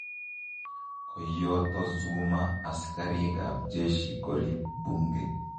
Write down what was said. Koiyoto Zuma asigarii ab jeshi koriib bunge.